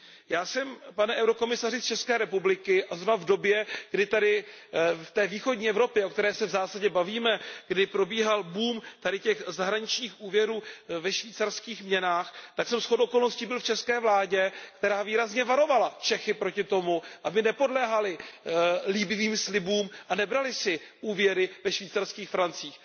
Já jsem, pane eurokomisaři, z České republiky a zrovna v době, kdy ve východní Evropě, o které se v zásadě bavíme, probíhal boom těchto zahraničních úvěrů ve švýcarských francích, tak jsem shodou okolností byl v české vládě, která výrazně varovala Čechy před tím, aby nepodléhali líbivým slibům a nebrali si úvěry ve švýcarských francích.